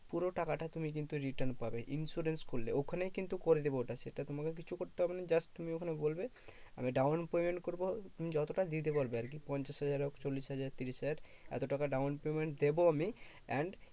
পুরো টাকাটা তুমি কিন্তু return পাবে insurance করলে। ওখানেই কিন্তু করে দেবে ওটা সেটা তোমাকে কিছু করতে হবে না। just তুমি ওখানে বলবে, আমি down payment করবো। তুমি যতটা দিতে পারবে আরকি পঞ্চাশ হাজার হোক চল্লিশ হাজার ত্রিশ হাজার এত টাকা down payment দেব আমি। and